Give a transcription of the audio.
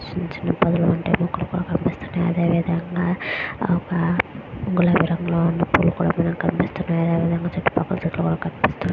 స్వీత్స్స్ book లు కూడా కనిపిస్తూ వునాయ్. అలాగే గులాబీ రంగు తెలుపు రంగు కూడా కనిపిస్తూ వున్నాయి చూతు పక్కల.